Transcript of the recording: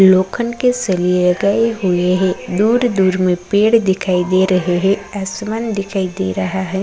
लोखंड के सरिये गए हुएँ हैं दुर-दूर में पेड़ दिखाई दे रहें हैं आसमान दिखाई दे रहा है।